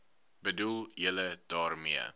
bedoel julle daarmee